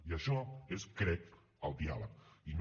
i això és crec el diàleg i no